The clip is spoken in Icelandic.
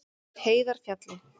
Heiðarfjalli